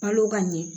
Balo ka ɲɛ